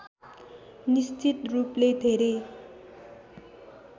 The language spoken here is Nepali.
निश्चित रूपले धेरै